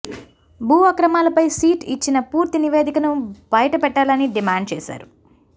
భూ అక్రమాలపై సిట్ ఇచ్చిన పూర్తి నివేదికను బయటపెట్టాలని డిమాండ్ చేశారు